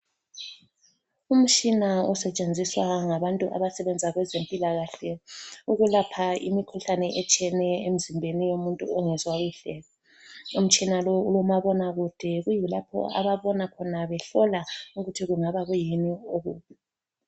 Umtshina osetshenziswa ngabantu abasebenza kwezempilakahle ukulapha imikhuhlane etshiyeneyo emzimbeni womuntu ongezwa kuhle. Imitshina lo kulomabona kude kuyilapho ababona khona behlola ukuthi kungaba kuyikuyini oku.